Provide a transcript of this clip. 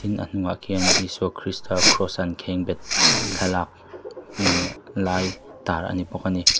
tin a hnungah khian isua krista cross a an khengbet thlalak ihhh lai tar ani bawk ani.